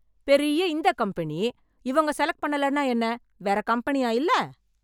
பெரிய இந்த கம்பெனி இவங்க செலக்ட் பண்ணலைனா என்ன வேற கம்பெனியா இல்ல